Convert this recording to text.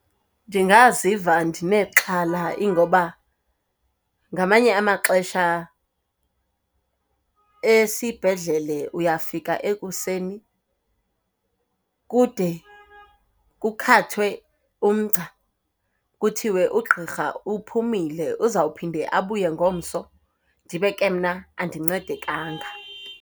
Ndingaziva ndinexhala ingoba ngamanye amaxesha esibhedlele uyafika ekuseni kude kukhathwe umgca kuthiwe ugqirha uphumile uzawuphinde abuye ngomso, ndibe ke mna andincedekanga.